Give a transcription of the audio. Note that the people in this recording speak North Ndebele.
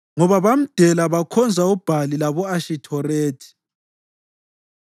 ngoba bamdela bakhonza uBhali labo-Ashithorethi.